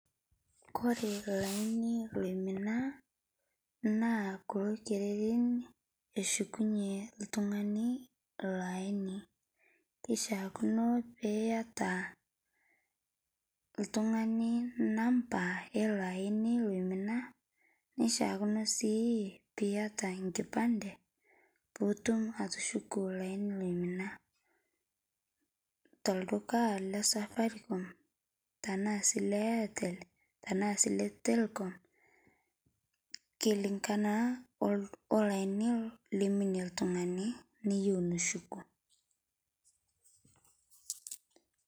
Koree olaini laimina na torkererin eshukunj oltungani iloaini kishaakino peiata oltungani namba ilo aini oimina nishaakino si piata enkipande pitum atushuku laini lino tolduka le Safaricom tanaa si le airtel tanaa si le telkom, kilingama olaini liminie oltungani niyeu nishuku.